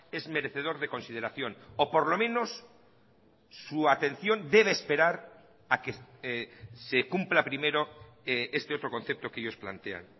es merecedor de consideración o por lo menos su atención debe esperar a que se cumpla primero este otro concepto que ellos plantean